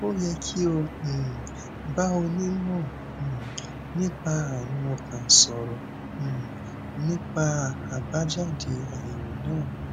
ó yẹ kí o um bá onímọ um nípa àrùn ọkàn sọrọ um nípa àbájáde àyèwò náà